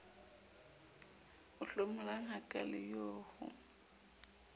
o hlomolang hakaale eo ho